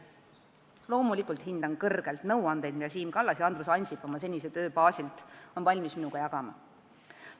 Loomulikult hindan kõrgelt nõuandeid, mida Siim Kallas ja Andrus Ansip oma senise töö baasilt on valmis mulle jagama.